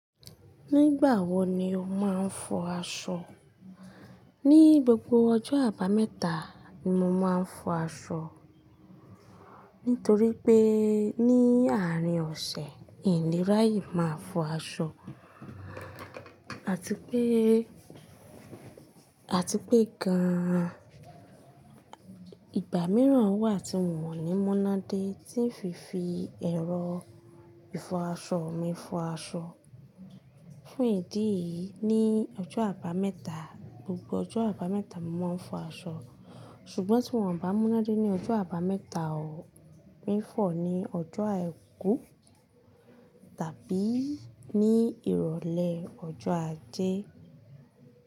Nígbà wo ni o máa ń fọ aṣọ? Ni gbogbo ọjọ́ Àbámẹ́ta ni mo máa ń fọ aṣọ nítorí pé ní àárín ọ̀sẹ̀ n le raye máa fọ aṣọ àti pé, àti pé gan-an ìgbà mìíràn wà tí won ní múnádé tí ń fi fi ẹrọ ìfọ aṣọ mi fọ aṣọ. Fún ìdí yìí ní ọjọ́ Àbámẹ́ta, gbogbo ọjọ́ Àbámẹ́ta mo máa ń fọ aṣọ. Ṣùgbọ́n tí won bá múnádé ní ọjọ́ Àbámẹ́ta o, mi fọ ní ọjọ́ Àìkú tàbí ní ìrọ̀lẹ́ ọjọ́ Ajé.